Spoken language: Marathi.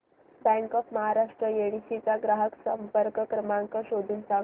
बँक ऑफ महाराष्ट्र येडशी चा ग्राहक संपर्क क्रमांक शोधून सांग